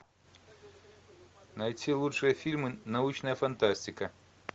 найти лучшие фильмы научная фантастика